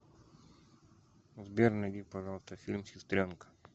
сбер найди пожалуйста фильм сестренка